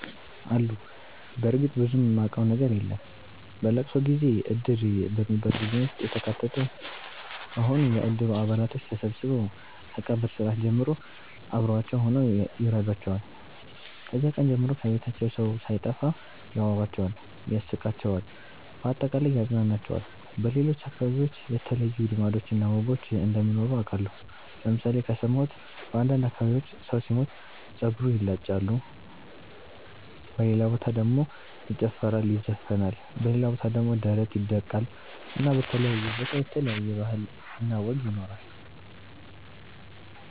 አሉ በርግጥ ብዙም ማቀው ነገር የለም። በለቅሶ ጊዜ እድር በሚባል ቡድን ውስጥ የተካተቱ ከሆኑ የእድሩ አባላቶች ተሠብስበው ከቀብር ስርአት ጀምሮ አብሮዋቸው ሁነው ይረዷቸዋል። ከዚያ ቀን ጀምሮ ከቤታቸው ሠው ሣይጠፋ ያወራቸዋል ያስቃቸዋል በአጠቃላይ ያፅናናቸዋል። በሌሎች አከባቢዎች የተለዩ ልማዶች እና ወጎች እንደሚኖሩ አቃለሁ ለምሣሌ ከሠማሁት በአንዳንድ አከባቢዎች ሠው ሢሞት ጸጉር ይላጫሉ በሌላ በታ ደሞ ይጨፈራል ይዘፍናል በሌላ ቦታ ደሞ ደረት ይደቃል እና በተለያየ ቦታ የተለያየ ባህል እና ወግ ይኖራል።